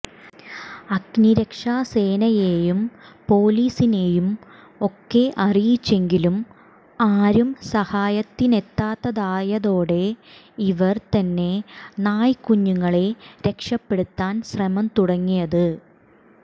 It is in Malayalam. അഗ്നിരക്ഷാ സേനയെയും പൊലീസിനെയും ഒക്കെ അറിയിച്ചെങ്കിലും ആരും സഹായത്തിനെത്താതായതോടെയാണ് ഇവർ തന്നെ നായ്ക്കുഞ്ഞുങ്ങളെ രക്ഷപെടുത്താൻ ശ്രമം തുടങ്ങിയത്